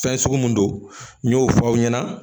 Fɛn sugu mun don n y'o fɔ aw ɲɛna